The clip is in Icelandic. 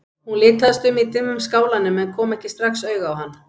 Hún litaðist um í dimmum skálanum en kom ekki strax auga á hann.